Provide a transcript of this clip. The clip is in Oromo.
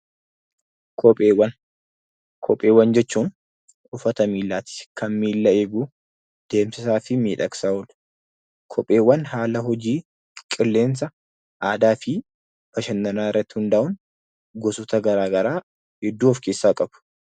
Kopheewwan jechuun uffata miillaati. Kan miilla eegu, deemsaa fi miidhagsaaf oola. Kopheewwan haala hojii, qilleensa, aadaa fi bashannana irratti hundaa'uun gosoota garaa garaa hedduu of keessaa qaba.